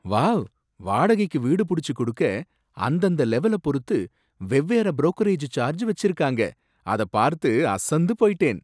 Wow! வாடகைக்கு வீடு புடிச்சு குடுக்க அந்தந்த லெவல பொறுத்து வெவ்வேற புரோக்கரேஜ் சார்ஜ் வச்சிருக்காங்க, அத பார்த்து அசந்து போயிட்டேன்!